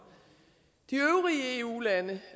de øvrige eu lande